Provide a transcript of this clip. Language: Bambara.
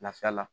Lafiya la